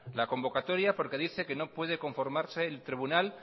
la convocatoria porque dice que no puede conformarse el tribunal